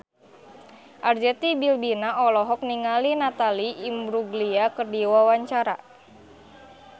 Arzetti Bilbina olohok ningali Natalie Imbruglia keur diwawancara